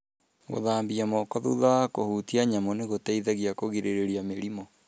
Gũthambia moko thutha wa kũhutia nyamũ nĩ gũteithagia kũgirĩrĩria mĩrimũ.